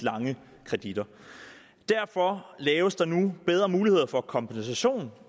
lange kreditter derfor laves der endnu bedre muligheder for kompensation